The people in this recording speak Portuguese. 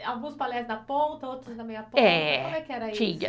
Alguns balés na ponta, outros na meia ponta. É. Como é que era isso?